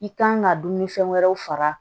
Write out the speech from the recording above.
I kan ka dumuni fɛn wɛrɛw far'a